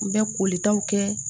N bɛ kolitaw kɛ